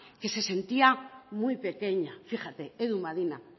que se sentía muy pequeña fíjate edu madina